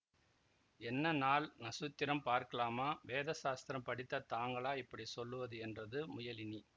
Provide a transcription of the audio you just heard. என்ன நாள் நக்ஷத்திரம் பார்க்காமலா வேதசாஸ்திரம் படித்த தாங்களா இப்படி சொல்லுவது என்றது முயலினி